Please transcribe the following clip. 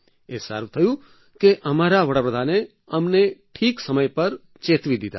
એ સારું થયું કે અમારા વડાપ્રધાને અમને ઠીક સમય પર અમને ચેતવી દીધા